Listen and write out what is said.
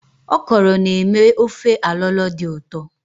Òkòrō na-eme ofe alo-alo dị ụtọ.